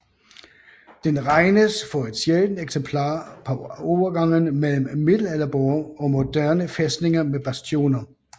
Den regnes for et sjældent eksempel på overgangen mellem middelalderborge og moderne fæstninger med bastioner